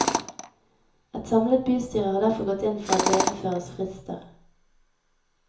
Et samlet bystyre har derfor gått inn for at det innføres frister.